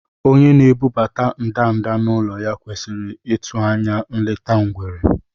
Onye na-ebubata ndanda n’ụlọ ya kwesịrị ịtụ anya nleta ngwere.